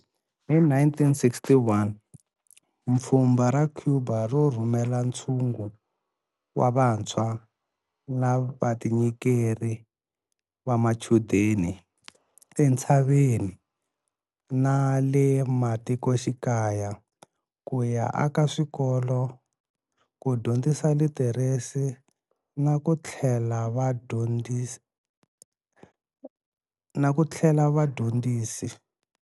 Hi 1961, mpfhumba ra Cuba ro rhumela ntshungu wa vantshwa va vatinyikeri va machudeni entshaveni na le matikoxikaya ku ya aka swikolo, ku dyondzisa litheresi na ku tlhela vadyondzisi.